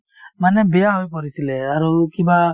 মানে বেয়া হৈ পৰিছিলে আৰু কিবা